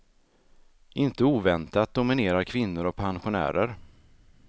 Inte oväntat dominerar kvinnor och pensionärer.